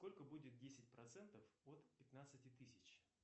сколько будет десять процентов от пятнадцати тысяч